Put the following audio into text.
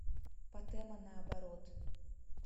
патэма наоборот